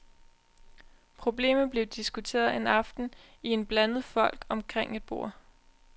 Problemet blev diskuteret en aften i en blandet flok omkring et bord.